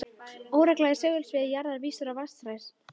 Óregla í segulsviði jarðar vísar á vatnsæðar